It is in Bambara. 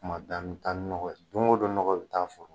Kuma bɛɛ an mi taa ni nɔgɔ ye don o don nɔgɔ bi taa foro